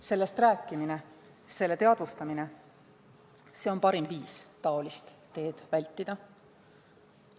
Sellest rääkimine, selle teadvustamine on parim viis taolist teed vältida.